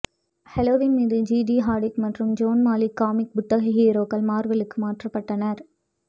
Halloween மீது Gigi Hadid மற்றும் Zayn Malik comic புத்தக ஹீரோக்கள் மார்வெலுக்கு மாற்றப்பட்டனர்